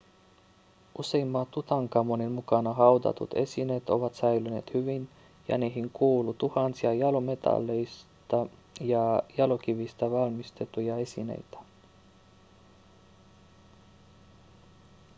useimmat tutankhamonin mukana haudatut esineet ovat säilyneet hyvin ja niihin kuuluu tuhansia jalometalleista ja jalokivistä valmistettuja esineitä